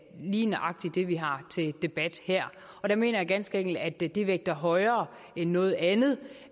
lige nøjagtig det vi har til debat her og der mener jeg ganske enkelt at det det vægter højere end noget andet